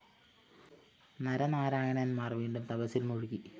നരനാരായണൻമാർ വീണ്ടും തപസ്സിൽ മുഴുകി